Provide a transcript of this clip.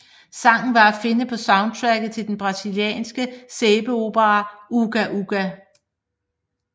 Sangen var at finde på soundtracket til den brasilianske sæbeopera Uga Uga